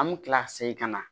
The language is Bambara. An me kila ka segin ka na